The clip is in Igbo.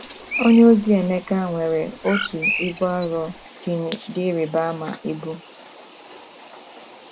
Onyeozi Emeka nwere otu ibu arọ um dị ịrịba ama ibu.